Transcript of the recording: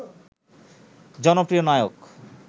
জনপ্রিয় নায়ক